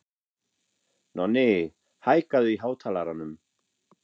Nonni, hækkaðu í hátalaranum.